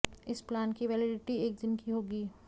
इस प्लान की वैलेडिटी एक दिन की होगी